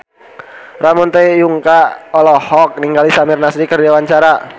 Ramon T. Yungka olohok ningali Samir Nasri keur diwawancara